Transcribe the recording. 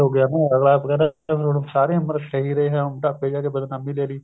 ਅਗਲਾ ਕਹਿੰਦਾ ਵੀ ਹੁਣ ਸਾਰੀ ਉਮਰ ਸਹੀ ਰਿਹਾ ਹੁਣ ਬੁਢ਼ਾਪੇ ਵਿੱਚ ਆਕੇ ਬਦਨਾਮੀ ਲੈਲੀ